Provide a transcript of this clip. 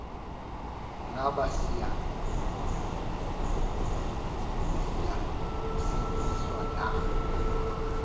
ngaba siyasindiswa na